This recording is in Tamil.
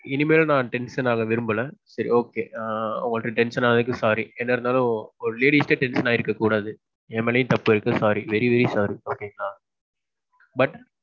இனிமேலும் நான் tension ஆக விரும்பல. சரி okay. ஆ உங்கள்ட tension ஆனதுக்கு sorry. என்ன இருந்தாலும் ஒரு lady கிட்ட tension ஆயிருக்க கூடாது. எம் மேலயும் தப்பிருக்கு sorry. very very sorryokay ங்களா. But.